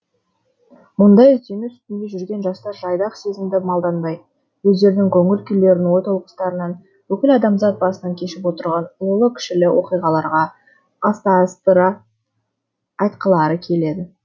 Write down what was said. мұндай іздену үстінде жүрген жастар жайдақ сезімді малданбай өздерінің көңіл күйлерін ой толғаныстарын бүкіл адамзат басынан кешіп отырған ұлылы кішілі оқиғаларға астастыра айтқылары келеді